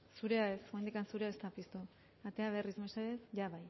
ez oraindik zurea ez da piztu atera berriz mesedez bai